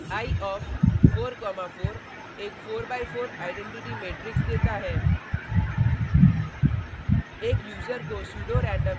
eye of 4 comma 4 एक 4 by 4 identity matrix देता है